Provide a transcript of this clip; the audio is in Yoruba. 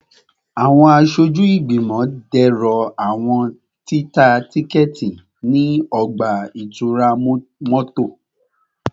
Awọn aṣoju igbimọ dẹrọ awọn tita tikẹti ni ọgba-itura mọto